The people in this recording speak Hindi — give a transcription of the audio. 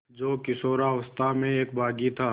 जो किशोरावस्था में एक बाग़ी था